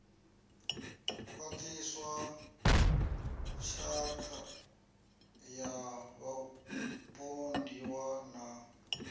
khwaṱhiswa tshatha ya vhapondiwa na